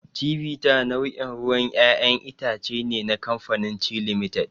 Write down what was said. Chivita nau'in ruwan ƴaƴan itace ne na kamafanin Chi Limited.